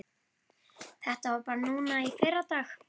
Þetta var bara núna í fyrradag.